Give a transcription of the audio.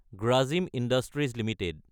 Grasim industries Ltd